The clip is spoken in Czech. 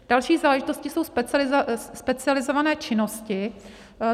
Další záležitostí jsou specializované činnosti.